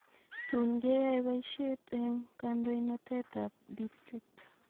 Tun keyoe poisheet en kandoinatetap district